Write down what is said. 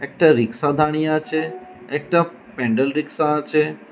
একটা রিক্সা দাঁড়িয়ে আচে একটা প্যান্ডেল রিক্সা আচে।